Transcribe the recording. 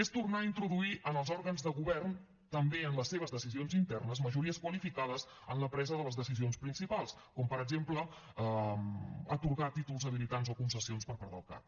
és tornar a introduir en els òrgans de govern també en les seves decisions internes majories qualificades en la presa de les decisions principals com per exemple atorgar títols habilitants o concessions per part del cac